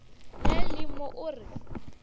le le mo o re